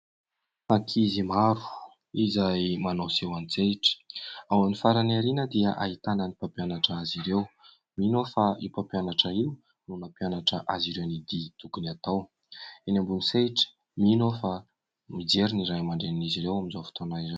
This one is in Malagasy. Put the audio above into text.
Ankizy maro izay manao seho antsehatra. Ao amin'ny farany aoriana dia ahitana ny mpampianatra azy ireo. Mino aho fa io mpampianatra io no nanmpianatra azy ireo ny dihy tokony atao eny ambony sehatra. Mino aho fa mijery ny Ray amandRenin'izy ireo amin'izao fotoana izao.